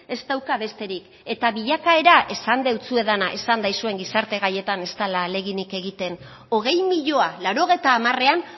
ez dauka besterik eta bilakaera esan deutsuedana esan daizuen gizarte gaietan ez dela ahaleginik egiten hogei milioi laurogeita hamarean